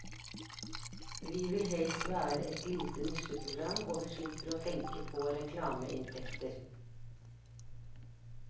Vi vil helst være et lite nisjeprogram, og vi slipper å tenke på reklameinntekter.